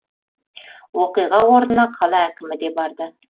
оқиға орнына қала әкімі де барды